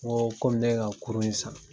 N ko komi ne ye ka kurun in san.